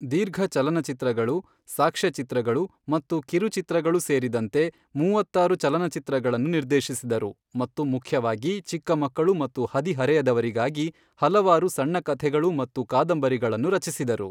ದೀರ್ಘಚಲನಚಿತ್ರಗಳು, ಸಾಕ್ಷ್ಯಚಿತ್ರಗಳು ಮತ್ತು ಕಿರುಚಿತ್ರಗಳು ಸೇರಿದಂತೆ ಮೂವತ್ತಾರು ಚಲನಚಿತ್ರಗಳನ್ನು ನಿರ್ದೇಶಿಸಿದರು ಮತ್ತು ಮುಖ್ಯವಾಗಿ ಚಿಕ್ಕ ಮಕ್ಕಳು ಮತ್ತು ಹದಿಹರೆಯದವರಿಗಾಗಿ ಹಲವಾರು ಸಣ್ಣ ಕಥೆಗಳು ಮತ್ತು ಕಾದಂಬರಿಗಳನ್ನು ರಚಿಸಿದರು.